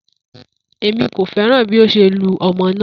Emi ko fẹran bi o ṣe lu ọmọ naa